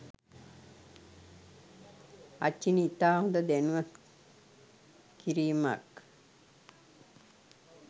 අචිනි ඉතා හොඳ දැනුවත් කිරීමක්